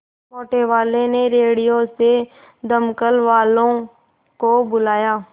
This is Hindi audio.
मोटेवाले ने रेडियो से दमकल वालों को बुलाया